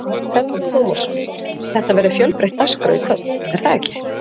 Telma Tómasson: Þetta verður fjölbreytt dagskrá í kvöld, er það ekki?